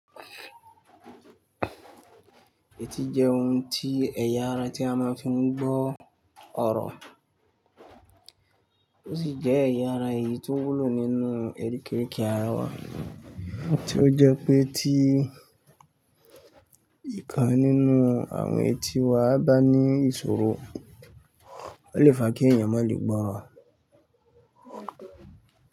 Ẹtì jẹ́ ohun tí ẹ̀yà ara tí a máa ń fi mú gbọ́ ọ̀rọ̀ ó sì jẹ́ ẹ̀yà ara èyí tó wúlò nínú erikérike ara wa, tí ó jẹ́ pé tí ìkan nínú àwọn etí wa bá ní ìṣòro, ó lè fa kí èèyàn má lè gbọ́ ọ̀rọ̀.